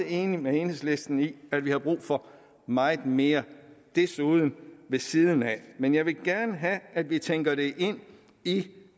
enig med enhedslisten i at vi har brug for meget mere desuden og ved siden af men jeg vil gerne have at vi også tænker det ind i